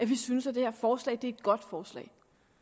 vi synes at det her forslag er et godt forslag